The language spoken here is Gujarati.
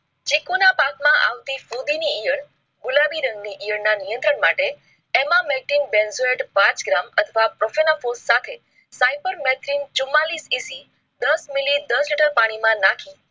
ચીકુનાં પાકમાં આવતી ફુંધીની ગુલાબી રંગ ની યેર ના નિયંત્રણ માટે emameltin benzoyde પાંચ gram અથવા સાથે સાયપરમેથિન ચુમાંલીસ EC દસ મીલી દસ લિટર પાણી માં નાખી